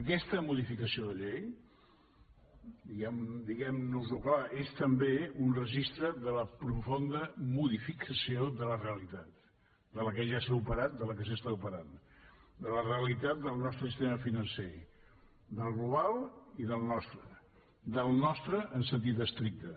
aquesta modificació de llei diguemnos ho clar és també un registre de la profunda modificació de la realitat de la que ja s’ha operat de la que s’opera de la realitat del nostre sistema financer del global i del nostre del nostre en sentit estricte